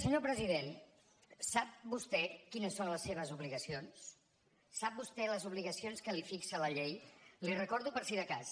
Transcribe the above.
senyor president sap vostè quines són les seves obligacions sap vostè les obligacions que li fixa la llei les hi recordo per si de cas